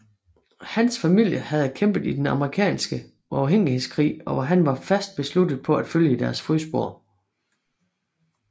Hans familie havde kæmpet i Den amerikanske uafhængighedskrig og han var fast besluttet på at følge i deres fodspor